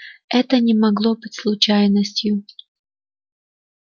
это не могло быть случайностью